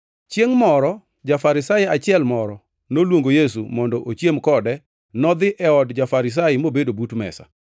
Chiengʼ moro ja-Farisai achiel moro noluongo Yesu mondo ochiem kode nodhi e od ja-Farisai mobedo but mesa.